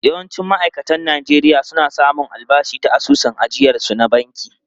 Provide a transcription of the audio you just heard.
Yawancin ma’aikatan Najeriya na samun albashi ta asusun ajiyarsu na banki.